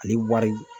Ale wari